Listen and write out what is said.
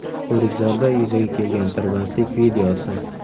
O‘rikzorda yuzaga kelgan tirbandlik videosi.